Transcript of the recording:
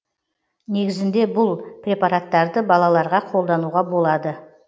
негізінде бұл препараттарды балаларға қолдануға болады